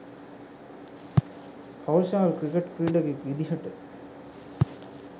Kaushal cricket ක්‍රීඩකයෙක් විදිහට